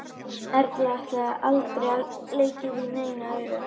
Erla: Aldrei leikið í neinu öðru?